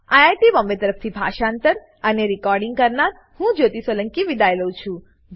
IIT Bombay તરફથી હું જ્યોતી સોલંકી વિદાય લઉં છું